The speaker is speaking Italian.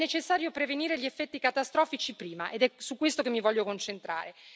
È necessario prevenire gli effetti catastrofici prima, ed è su questo che mi voglio concentrare.